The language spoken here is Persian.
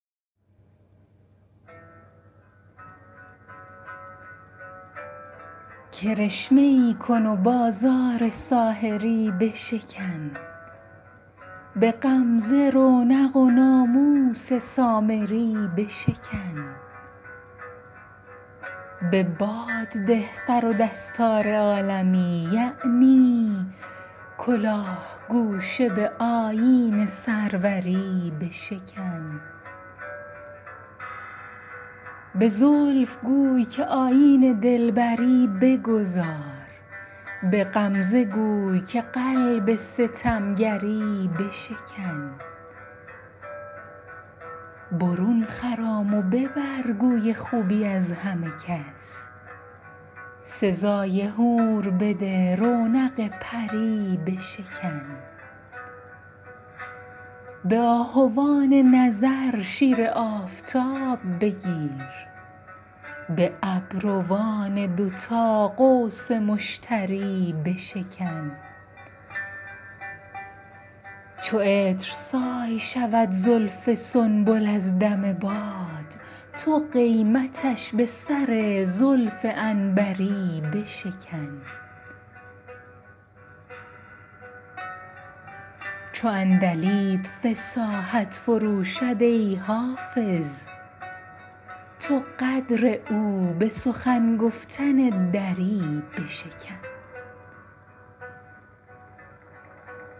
کرشمه ای کن و بازار ساحری بشکن به غمزه رونق و ناموس سامری بشکن به باد ده سر و دستار عالمی یعنی کلاه گوشه به آیین سروری بشکن به زلف گوی که آیین دلبری بگذار به غمزه گوی که قلب ستمگری بشکن برون خرام و ببر گوی خوبی از همه کس سزای حور بده رونق پری بشکن به آهوان نظر شیر آفتاب بگیر به ابروان دوتا قوس مشتری بشکن چو عطرسای شود زلف سنبل از دم باد تو قیمتش به سر زلف عنبری بشکن چو عندلیب فصاحت فروشد ای حافظ تو قدر او به سخن گفتن دری بشکن